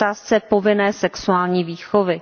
v otázce povinné sexuální výchovy.